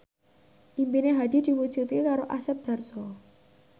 impine Hadi diwujudke karo Asep Darso